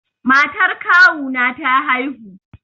Matar kawu na ta haihu